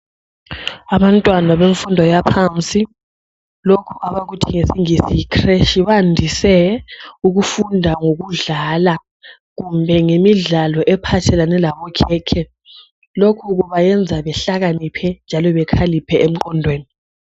Abantwana bemfundo yaphansi lokhu abakuthi ngesingisis yicreche bandise ukufunda ngokudlala ngemidlalo ephathelane labokhekhe lokhu kubayenza behlakaniphe njalo bekhaliphe engqondweni